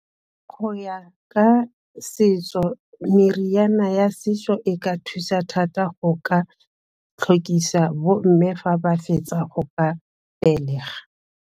Go ya ka setso meriana ya setso e ka thusa thata go ka tlhokisa bomme fa ba fetsa go ka belega.